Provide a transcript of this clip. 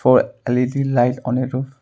Four L_E_D light on a roof.